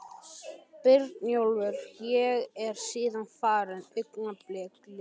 Brynjólfs og er síðan farin, augnablikið liðið.